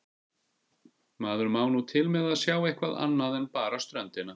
Maður má nú til með að sjá eitthvað annað en bara ströndina.